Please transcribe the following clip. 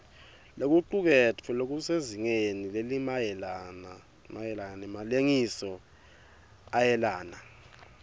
lokucuketfwe kusezingeni lelingemalengisoisomayelana